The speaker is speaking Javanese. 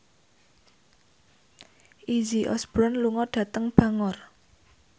Izzy Osborne lunga dhateng Bangor